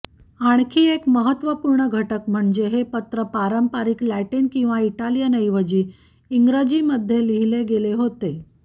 आणखी एक महत्त्वपूर्ण घटक म्हणजे हे पत्र पारंपारिक लॅटिन किंवा इटालियनऐवजी इंग्रजीमध्ये लिहिले गेले होते